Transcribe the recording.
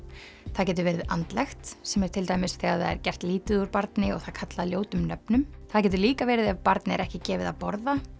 það getur verið andlegt sem er til dæmis þegar það er gert lítið úr barni og það kallað ljótum nöfnum það getur líka verið ef barni er ekki gefið að borða